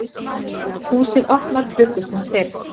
Húsið opnar klukkustund fyrr